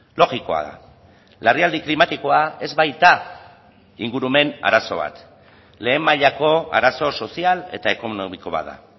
logikoa da larrialdi klimatikoa ez baita ingurumen arazo bat lehen mailako arazo sozial eta ekonomiko bat da